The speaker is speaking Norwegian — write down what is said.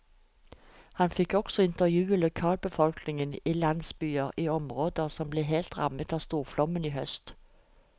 Han fikk også intervjue lokalbefolkningen i landsbyer i områder som ble hardt rammet av storflommen i høst.